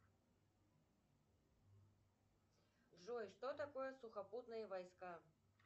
джой что такое сухопутные войска